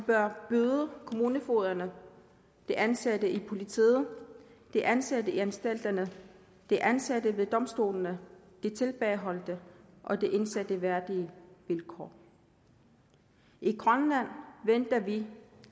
bør byde kommunefogederne de ansatte i politiet de ansatte i anstalterne de ansatte ved domstolene de tilbageholdte og de indsatte værdige vilkår i grønland venter vi